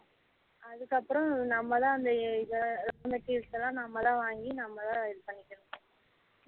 அதுக்கு அப்றம் நம்ம தான் அந்த இத அந்த case லாம் நம்ம தான் வாங்கி நம்ம தான் இது பண்ணிகனும்